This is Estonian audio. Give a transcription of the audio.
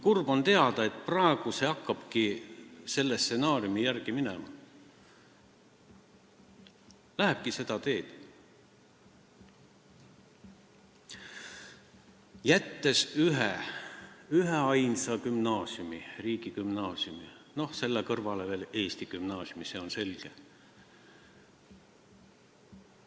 Kurb on teada, et praegu hakkabki kõik selle stsenaariumi järgi minema, lähebki seda teed, alles jääb üks, üksainus gümnaasium, riigigümnaasium, ja selle kõrval on veel eesti gümnaasium, see on selge.